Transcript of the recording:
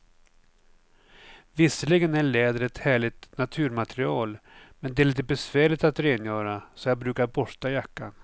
Visserligen är läder ett härligt naturmaterial, men det är lite besvärligt att rengöra, så jag brukar borsta jackan.